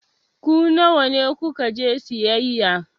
Ku nawa ku ka je sayayya?